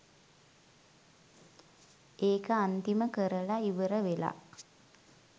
ඒක අන්තිම කරල ඉවර වෙලා